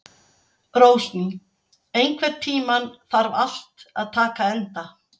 Rósný, einhvern tímann þarf allt að taka enda.